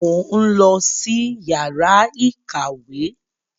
Mo ń lọ sí yàrá ìkàwé.